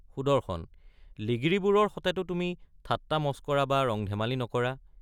সুদৰ্শন—লিগিৰিবোৰৰ সতেতো তুমি ঠাট্ৰামস্কৰা বা ৰং ধেমালি নকৰা?